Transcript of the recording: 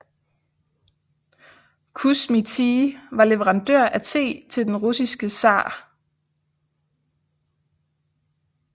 Kusmi Tea var leverandør af te til den russiske tsar